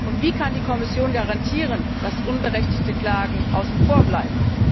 Und wie kann die Kommission garantieren, dass unberechtigte Klagen außen vor bleiben?